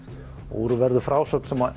og úr verður frásögn sem